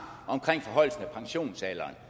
omkring forhøjelsen af pensionsalderen